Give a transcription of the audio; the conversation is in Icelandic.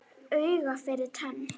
Auga fyrir tönn.